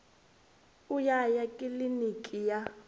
u ya ya kiliniki ya